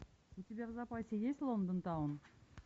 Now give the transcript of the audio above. у тебя в запасе есть лондон таун